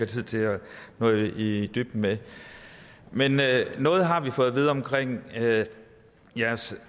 tid til at nå i i dybden med men noget har vi fået at vide om jeres